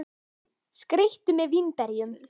Skreyttu með vínberjunum.